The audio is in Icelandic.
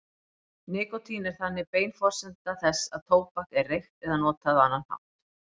Nikótín er þannig bein forsenda þess að tóbak er reykt eða notað á annan hátt.